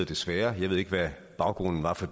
desværre jeg ved ikke hvad baggrunden var for